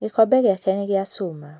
Gĩkombe gĩake nĩ gĩa cuma.